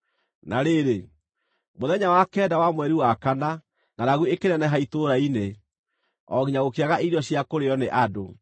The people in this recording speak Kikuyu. Na rĩrĩ, mũthenya wa kenda wa mweri wa kana, ngʼaragu ĩkĩneneha itũũra-inĩ, o nginya gũkĩaga irio cia kũrĩĩo nĩ andũ.